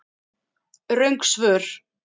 Röng svör